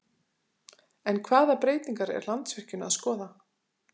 En hvaða breytingar er Landsvirkjun að skoða?